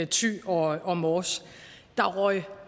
thy og og mors der røg